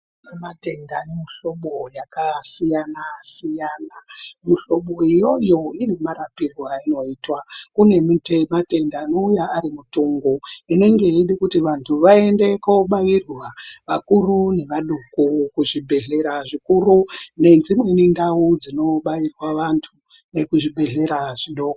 Kune matenda nemuhlobo yakasiyana-siyana. Muhlobo iyoyo ine marapirwe ainoitwa. Kune miti yematenda anouya ari mitungu inenge yeide kuti vantu vaende kobairwa, vakuru nevadoko kuzvibhedhlera zvikuru, nedzimweni ndau dzinobairwa vantu nekuzvibhedhlera zvidoko.